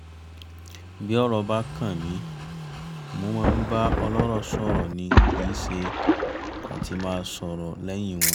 bí ọ̀rọ̀ bá kan mi mo máa ń bá ọlọ́rọ̀ sọ̀rọ̀ ni kì í ṣe àti máa sọ́ lẹ́yìn wọn